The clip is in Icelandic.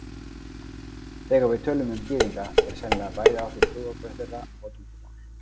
Þegar við tölum um Gyðinga er sennilega bæði átt við trúarbrögð þeirra og tungumál.